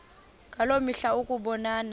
ngaloo mihla ukubonana